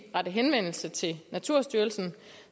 rette henvendelse til naturstyrelsen